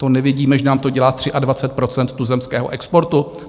To nevidíme, že nám to dělá 23 % tuzemského exportu?